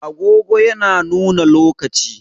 Agogo yana nuna lokaci.